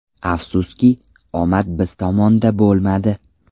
Afsuski, omad biz tomonda bo‘lmadi.